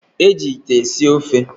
Eji ite esi ofe.